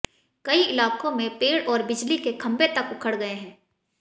कई इलाकों में पेड़ और बिजली के खंबे तक उखड गए हैं